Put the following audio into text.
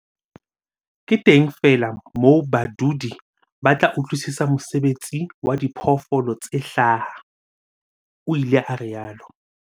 "Ke teng feela moo badudi ba tla utlwisisa mosebetsi wa diphoofolo tse hlaha," o ile a rialo.